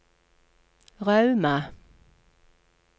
Rauma